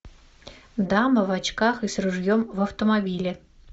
дама в очках и с ружьем в автомобиле